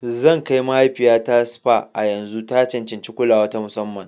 Zan kai mahaifiyata spa a yanzu. Ta cancanci kulawa ta musamman.